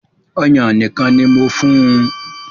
Ọ̀yàn nìkan ni mo fún un